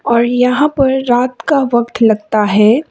और यहां पर रात का वक्त लगता है।